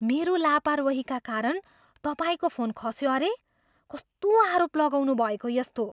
मेरो लापरवाहीका कारण तपाईँको फोन खस्यो अरे? कस्तो आरोप लगाउनुभएको यस्तो?